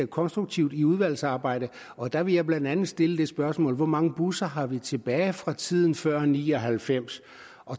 konstruktive i udvalgsarbejdet og der vil jeg blandt andet stille det spørgsmål hvor mange busser har vi tilbage fra tiden før nitten ni og halvfems